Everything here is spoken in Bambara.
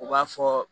U b'a fɔ